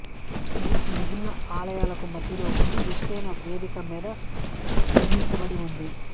ఇది మిగిలిన ఆలయాలకు మధ్యలో ఉండి ఎత్తైన వేదిక మీద నిర్మించబడి ఉంది